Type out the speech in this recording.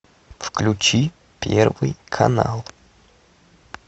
включи первый канал